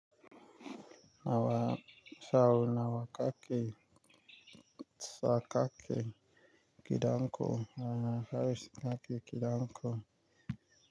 Nawa sau nawa kake tsaka ake kidan ko? Nawa haris kaki kidan ko?